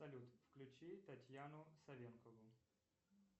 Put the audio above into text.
салют включи татьяну совенкову